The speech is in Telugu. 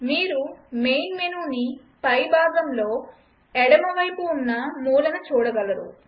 మీరు మెయిన్ మెనూని పైభాగంలో ఎడమవైపు మూల చూడగలరు